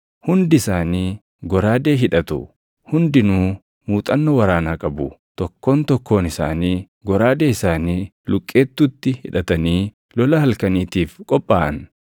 Hundi isaanii goraadee hidhatu; hundinuu muuxannoo waraanaa qabu; tokkoon tokkoon isaanii goraadee isaanii luqqeettuutti hidhatanii lola halkaniitiif qophaaʼan.